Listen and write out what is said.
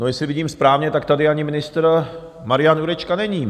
No, jestli vidím správně, tak tady ani ministr Marian Jurečka není.